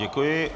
Děkuji.